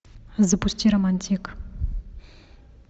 запусти романтик